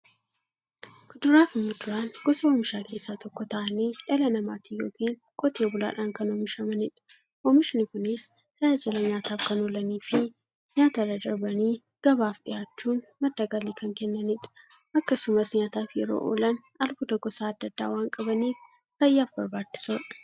Kuduraafi muduraan gosa oomishaa keessaa tokko ta'anii, dhala namaatin yookiin Qotee bulaadhan kan oomishamaniidha. Oomishni Kunis, tajaajila nyaataf kan oolaniifi nyaatarra darbanii gabaaf dhiyaachuun madda galii kan kennaniidha. Akkasumas nyaataf yeroo oolan, albuuda gosa adda addaa waan qabaniif, fayyaaf barbaachisoodha.